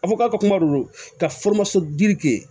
A fɔ k'a ka kuma don ka kɛ